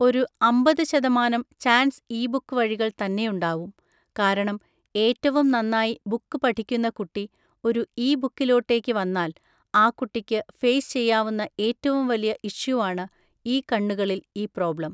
ഒരു അമ്പത് ശതമാനം ചാൻസ് ഇ ബുക്ക് വഴികൾ തന്നെയുണ്ടാവും. കാരണം ഏറ്റവും നന്നായി ബുക്ക് പഠിക്കുന്ന കുട്ടി ഒരു ഇ ബുക്കിലോട്ടേക്ക് വന്നാൽ, ആ കുട്ടിക്ക് ഫെയിസ് ചെയ്യാവുന്ന ഏറ്റവും വലിയ ഇഷ്യൂവാണ് ഈ കണ്ണുകളിൽ ഈ പ്രോബ്ലം.